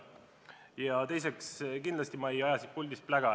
Ja teiseks, kindlasti ma ei aja siit puldist plära.